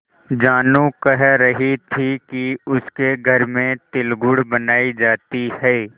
जानू कह रही थी कि उसके घर में तिलगुड़ बनायी जाती है